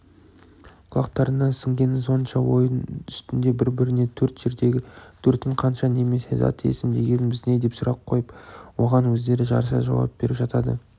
құлақтарына сіңгені сонша ойын үстінде бір-біріне төрт жердегі төртім қанша немесе зат есім дегеніміз не деп сұрақ қойып оған өздері жарыса жауап беріп жатады